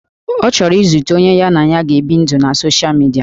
Ọ chọrọ izute onye ya na ya ga-ebi ndụ na soshal midia